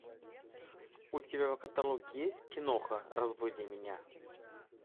у тебя в каталоге есть киноха разбуди меня